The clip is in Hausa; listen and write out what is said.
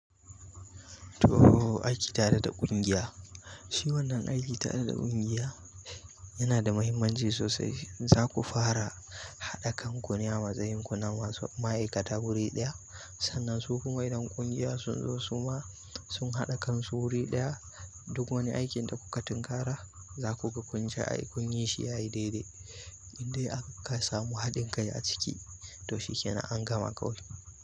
To aiki tare da ƙungiya, shi wannan aiki tare da ƙungiya yana da mahimmanci sosai. Za ku fara haɗa kan ku ne a matsayin ku na masu ma'aikata wuri ɗaya. Sannan su kuma idan ƙungiya sun zo suma sun haɗa kansu wuri ɗaya duk wani aikin da kuka tinkara zaku ga kun ja ai kunyi ya yi shi yayi daidai indai aka kuka samu haɗin kai a ciki to shi kenan an gama ƙawai.